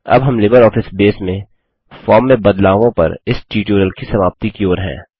अब हम LibreOffice Base में फॉर्म में बदलावों पर इस ट्यूटोरियल की समाप्ति की ओर हैं